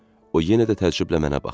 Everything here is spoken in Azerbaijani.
O yenə də təəccüblə mənə baxdı.